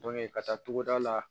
ka taa togoda la